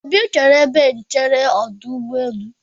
Obi chere n'ebe nchere ọdụ ụgbọelụ.